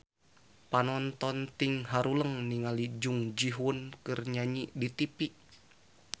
Panonton ting haruleng ningali Jung Ji Hoon keur nyanyi di tipi